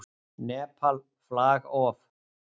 Nepal, flag of.